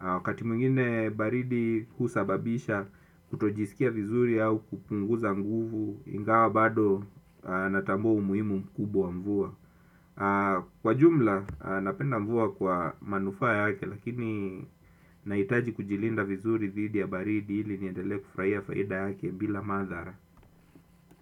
Wakati mwingine baridi kusababisha kutojisikia vizuri au kupunguza nguvu ingawa bado natambua umuhimu mkubwa wa mvua. Kwa jumla napenda mvua kwa manufa yake lakini nahitaji kujilinda vizuri thidi ya baridi ili niendele kufurahia faida yake bila madhara.